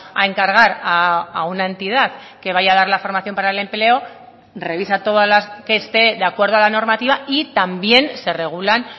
a encargar a una entidad que vaya a dar la formación para el empleo revisa todas las que esté de acuerdo a la normativa y también se regulan